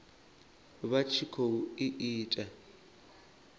vha tshi khou i ita